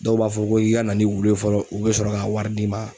Dɔw b'a fɔ ko i ka na ni wulu ye fɔlɔ u bɛ sɔrɔ ka wari d'i ma.